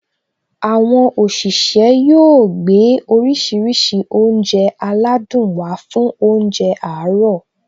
Àwọn òṣìṣẹ́ yóò gbé oríṣiríṣi oúnjẹ aládùn wá fún óúnjẹ àárọ̀